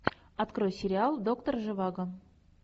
открой сериал доктор живаго